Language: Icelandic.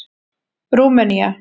Rúmenía